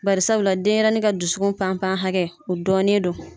Bari sabula den yɛrɛ ka dusu hakɛ o dɔɔnen don